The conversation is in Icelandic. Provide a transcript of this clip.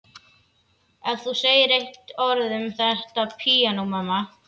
Ef þú segir eitt orð um þetta píanó, mamma.